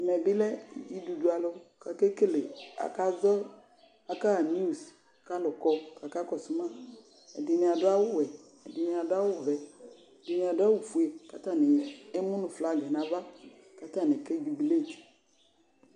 Ɛmɛ bɩ lɛ dzidudualʋ kʋ akekele, akazɔ, akaɣa niwus kʋ alʋ kɔ kʋ akakɔsʋ ma Ɛdɩnɩ adʋ awʋwɛ, ɛdɩnɩ adʋ awʋvɛ, ɛdɩnɩ adʋ awʋfue kʋ atanɩ emu nʋ flagɩ nʋ ava kʋ atanɩ kadublet